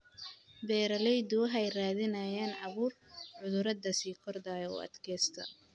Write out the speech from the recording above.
Beeraleydu waxay raadinayaan abuur cudurrada sii kordhaya u adkaysta.